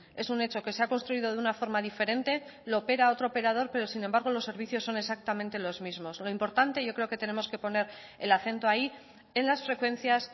es un hecho que se ha construido de una forma diferente lo opera otro operador pero sin embargo los servicios son exactamente los mismos lo importante yo creo que tenemos que poner el acento ahí en las frecuencias